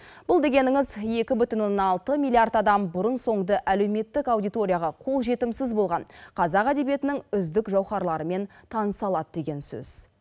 бұл дегеніңіз екі бүтін оннан алты миллиард адам бұрын соңды әлеуметтік аудиторияға қолжетімсіз болған қазақ әдебиетінің үздік жауһарларымен таныса алады